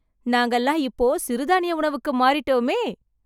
நாங்கல்லாம் இப்போ சிறுதானிய உணவுக்கு மாறிட்டோமே...